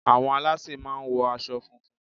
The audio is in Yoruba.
Àwọn alásè máà ń wo asọ funfun